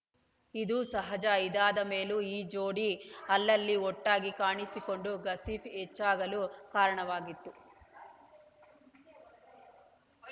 ಇದು ಸಹಜ ಇದಾದ ಮೇಲೂ ಈ ಜೋಡಿ ಅಲ್ಲಲ್ಲಿ ಒಟ್ಟಾಗಿ ಕಾಣಿಸಿಕೊಂಡು ಗಾಸಿಪ್‌ ಹೆಚ್ಚಾಗಲು ಕಾರಣವಾಗಿತ್ತು